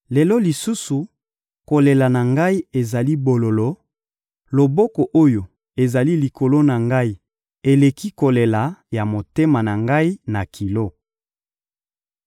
«Lelo lisusu, kolela na ngai ezali bololo, loboko oyo ezali likolo na ngai eleki kolela ya motema na ngai na kilo.